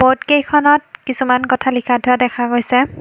কেইখনত কিছুমান কথা লিখা থোৱা দেখা গৈছে।